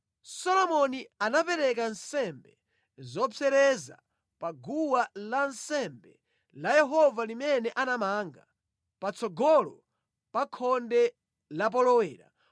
Solomoni anapereka nsembe zopsereza pa guwa lansembe la Yehova limene anamanga patsogolo pa khonde la polowera,